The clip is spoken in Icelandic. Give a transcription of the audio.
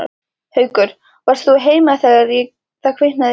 Haukur: Varst þú heima þegar að kviknaði í?